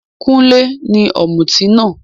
Kúnlé ní òmùtí náà.